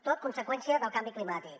tot conseqüència del canvi climàtic